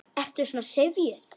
Ertu svona syfjuð?